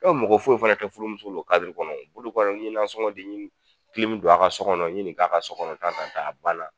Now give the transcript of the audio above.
Dɔw mɔgɔ foyi fɛnɛ tɛ furumuso la o kɔnɔ o. K'olu kɔnɔ n'i ye nasɔŋɔ di ɲe don a ka so kɔnɔ ɲe nin k'a ka so kɔnɔ da ka taa a banna.